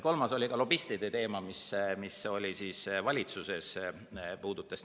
Kolmas oli lobistide teema, mis oli valitsuses.